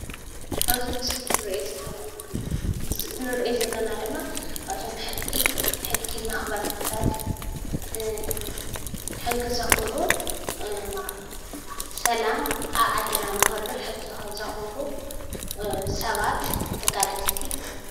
ኣብዚ ምስሊ ንሪኦ ዘለና ድማ ኣብዞም ሕጊ መኽበርትታት ሕጊ ዘኽብሩ ሰላም ኣብ ዓድና ንክህሉ ሕጊ ዘኽብሩ ሰባት ተጋደልቲ እዮም፡፡